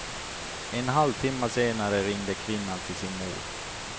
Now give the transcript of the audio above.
En halvtimma senare ringde kvinnan till sin mor.